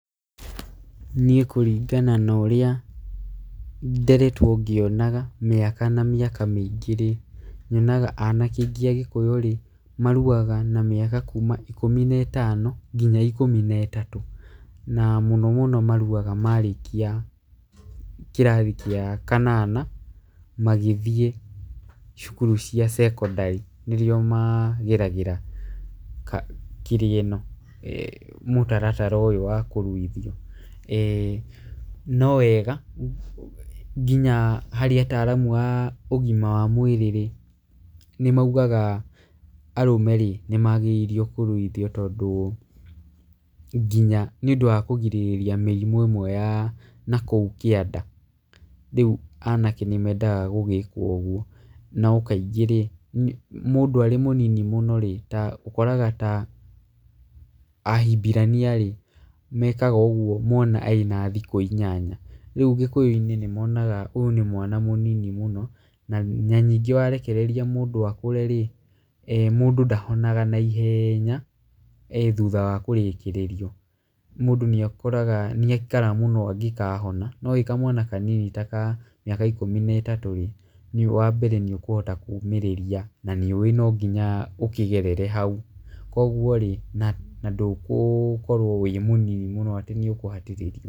Niĩ kũringana na ũrĩa nderetwo ngĩonaga, mĩaka na mĩaka mĩingĩ rĩ, nyonaga anake aingĩ a gĩkũyũ rĩ, maruaga na mĩaka kuma ikumi na ĩtano nginya ikũmi na ĩtatũ. Na mũno mũno maruaga marĩkia kĩrathi kĩa kanana, magĩthiĩ cukuru cia cekondarĩ nĩguo mageragĩra kĩrĩa ĩno, mũtaratara ũyũ wakũruithio. No wega nginya harĩ ataaramu a ũgima wa mwĩrĩ rĩ, nĩ maugaga arũme-rĩ nĩ magĩrĩirio kũruithio tondũ nginya nĩ ũndũ wa kũgirĩria nginya mĩrimũ ya nakũu kĩanda, rĩu anake nĩ mendaga gũgĩkwo ũguo. No kaingĩ-rĩ, mũndũ arĩ mũnini mũno rĩ, ta ũkoraga ta ahimbirania rĩ, mekaga ũguo mwana ena thikũ ĩnyanya. Rĩu gĩkũyũ-inĩ nĩmonaga ũyũ nĩ mwana mũnini mũno, na nyĩngĩ warekereria mũndũ akũre rĩ, mũndũ ndahonaga naihenya thutha wa kũrĩkĩrĩrio. Mũndũ nĩakoraga nĩaikara mũno angĩkahona no kamwana kanini ta ka mĩaka ikũmi na ĩtatũ rĩ, wa mbere nĩ ũkũhota kũmĩrĩria na nĩũĩ no nginya ũkĩgerere hau. Koguo rĩ na ndũgũkorwo wĩ mũnini mũno atĩ nĩũkũhatĩrĩrio.